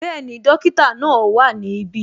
Bẹẹni, dókítà náà wá ní ibi